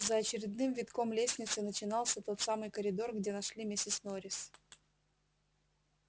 за очередным витком лестницы начинался тот самый коридор где нашли миссис норрис